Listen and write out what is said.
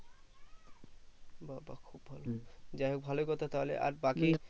বা বা খুব ভালো যাইহোক কথা তাহলে আর বাকি